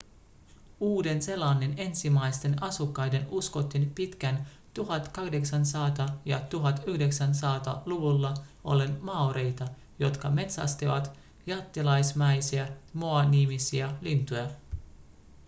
uuden-seelannin ensimmäisten asukkaiden uskottiin pitkään 1800- ja 1900-luvulla olleen maoreita jotka metsästivät jättiläismäisiä moa-nimisiä lintuja